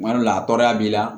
Kuma dɔ la a tɔɔrɔya b'i la